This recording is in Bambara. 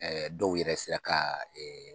Ɛɛ dɔw yɛrɛ sera ka